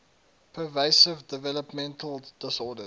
pervasive developmental disorders